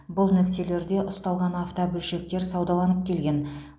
бұл нүктелерде ұсталған автобөлшектер саудаланып келген